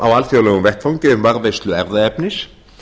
á alþjóðlegum vettvangi um varðveislu erfðaefnis